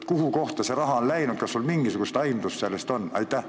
Kuhu kohta see raha on läinud, kas sul on mingisugust aimdust?